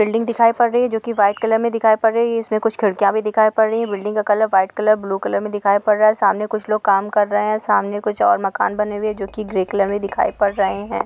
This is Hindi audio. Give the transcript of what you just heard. बिल्डिंग दिखाई पड़ रही है जो की व्हाइट कलर मे दिखाई पड़ रही है | इसमे कुछ खिड़कियाँ भी दिखाई पड़ रही है बिल्डिंग का colour white colour blue colour मे दिखाई पड़ रहा है | सामने कुछ लोग काम कर रहे है सामने कुछ और भी मकान बने हुये है जो की ग्रे कलर मे दिखाई पड़ रहे है।